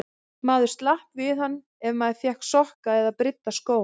Maður slapp við hann ef maður fékk sokka eða brydda skó.